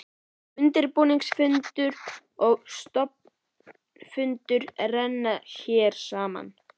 Undirbúningsfundur og stofnfundur renna hér saman.